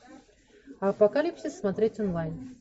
апокалипсис смотреть онлайн